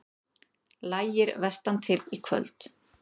Lægir vestantil Í kvöld